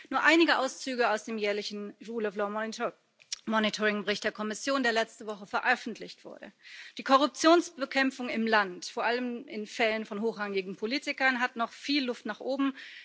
Nur einige Auszüge aus dem jährlichen Rule of law Monitoringbericht der Kommission, der letzte Woche veröffentlicht wurde Die Korruptionsbekämpfung in dem Land, vor allem in Fällen von hochrangigen Politikern, hat noch viel Luft nach oben.